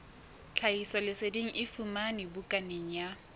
tlhahisoleseding e fumanwe bukaneng ya